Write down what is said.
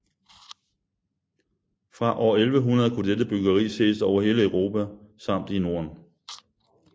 Fra år 1100 kunne dette byggeri ses over hele Europa samt i Norden